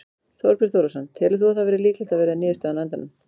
Þorbjörn Þórðarson: Telur þú að það verði líklegt að verði niðurstaðan á endanum?